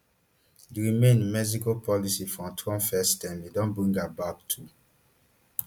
di remain in mexico policy from trump firstterm e don bring am back too